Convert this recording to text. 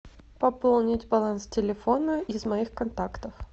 пополнить баланс телефона из моих контактов